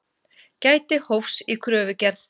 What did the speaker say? Gæti hófs í kröfugerð